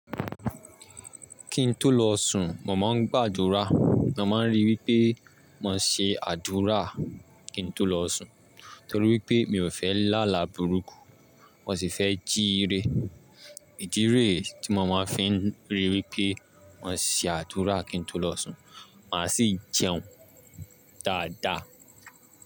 Kí n tó lọ sùn, mo máa ń gbàdúrà. Mo máa ń rí wí pé ma ṣe àdúrà kí n tó lọ sùn torí wípé mi ò fẹ́ lála burúkú, mo sì fẹ́ jíire. Ìdire tí mo máa fi ń rí wípé mo ṣe àdúrà kí n tó lọ sùn, màá sì jẹun dáadáa.